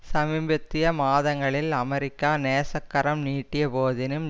சமீபத்திய மாதங்களில் அமெரிக்கா நேசக்கரம் நீட்டிய போதினும்